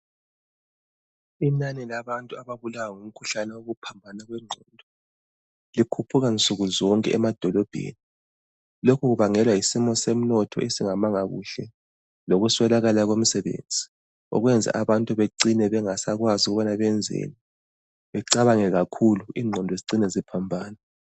Inani labantu ababulawa ngumkhuhlane wokuphambana kwengqondo likhuphuka nsukuzonke emadolobheni. Lokhu kubangelwa yisimo somnotho esingamanga kuhle lokuswelakala kwemsebenzi okwenza abantu becine bengasakwazi ukubana benzeni, becabange kakhulu ingqondo zicine ziphambana.